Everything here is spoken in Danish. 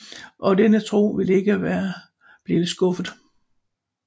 Og denne tro ville ikke være blevet skuffet